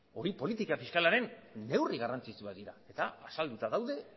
hori politika fiskalaren neurri garrantzitsuak dira eta azalduta daude